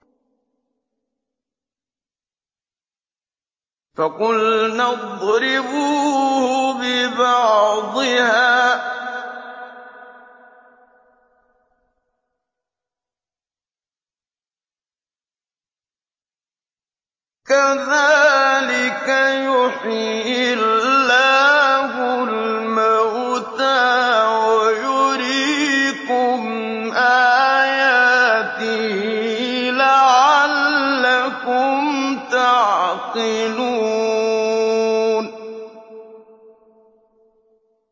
فَقُلْنَا اضْرِبُوهُ بِبَعْضِهَا ۚ كَذَٰلِكَ يُحْيِي اللَّهُ الْمَوْتَىٰ وَيُرِيكُمْ آيَاتِهِ لَعَلَّكُمْ تَعْقِلُونَ